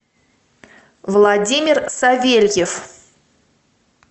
владимир савельев